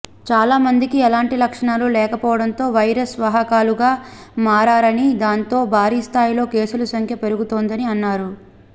చాలా మందికి ఎలాంటి లక్షణాలు లేకపోవడంతో వైరస్ వాహకులుగా మారారని దాంతో భారీ స్థాయిలో కేసుల సంఖ్య పెరుగుతోందని అన్నారు